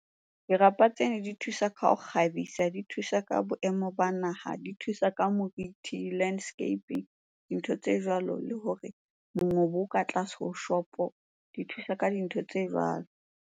Dirapa tsena di thusa ka ho kgabisa, di thusa ka boemo ba naha, di thusa ka moriti, landscaping, dintho tse jwalo. Le hore mongobo o ka tlase ho shopo, di thusa ka dintho tse jwalo.